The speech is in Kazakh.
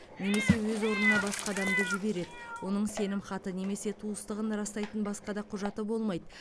немесе өз орнына басқа адамды жібереді оның сенімхаты немесе туыстығын растайтын басқа да құжаты болмайды